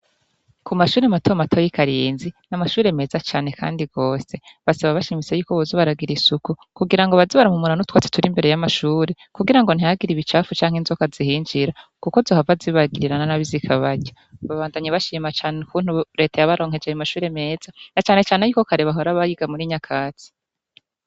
Ku mashure mato mato y'i Karinzi, ni amashure meza cane kandi rwose. Basaba bashimitse yuko boza baragira isuku, kugira ngo baze barahumura n'utwatsi turi imbere y'amashure, kugira ngo ntihagire ibicafu canke inzoka zihinjira; kuko zohava zibagirira na nabi zikabarya. Babandanya bashima ukuntu Leta yabaronkeje ayo mashure meza, na cane cane yuke kare bahora bayiga muri nyakatsi.